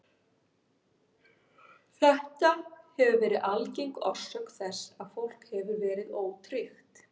Þetta hefur verið algeng orsök þess að fólk hefur verið ótryggt.